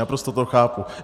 Naprosto to chápu.